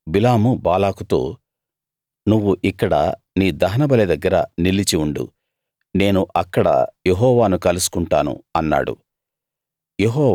అప్పుడు బిలాము బాలాకుతో నువ్వు ఇక్కడ నీ దహనబలి దగ్గర నిలిచి ఉండు నేను అక్కడ యెహోవాను కలుసుకుంటాను అన్నాడు